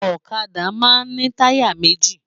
Òkàdá ni tàyá méji